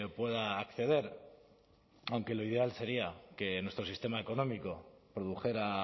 pueda acceder aunque lo ideal sería que nuestro sistema económico produjera